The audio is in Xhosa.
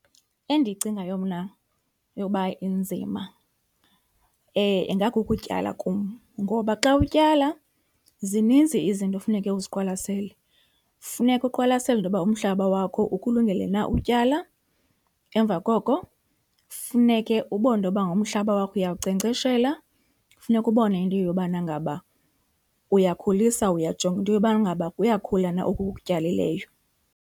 Endiyicingayo mna yoba inzima ingakukutyala kum ngoba xa utyala zininzi izinto ekufuneka uziqwalasele. Funeka uqwalasele into yoba umhlaba wakho ukulungele na utyala, emva koko funeke ubone into yoba ngaba umhlaba wakho uyawunkcenkceshela. Funeka ubone into yobana ngaba uyakhulisa, uyajonga into yobana ngaba kuyakhula na oku ukutyalileyo.